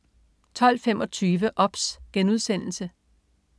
12.25 OBS*